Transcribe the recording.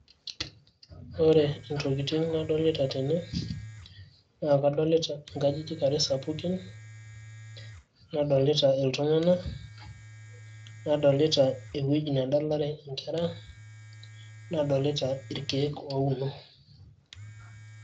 ore intokitin nadolita tene naa kadolita nkajijik are sapukin nadolita iltung`anak, nadolita ewueji nedalare inkera nadolita irkeek ouno.